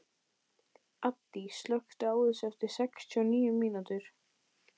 Addý, slökktu á þessu eftir sextíu og níu mínútur.